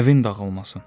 Əvin dağılmasın.